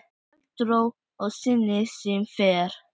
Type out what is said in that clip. Hélt ró sinni sem fyrr.